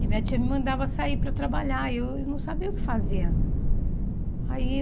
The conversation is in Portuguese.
E minha tia me mandava sair para trabalhar e eu não sabia o que fazer. Aí